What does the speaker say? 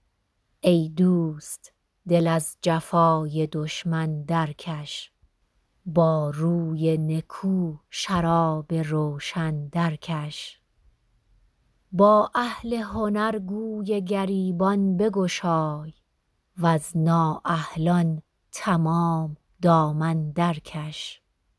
ای دوست دل از جفای دشمن درکش با روی نکو شراب روشن درکش با اهل هنر گوی گریبان بگشای وز نااهلان تمام دامن درکش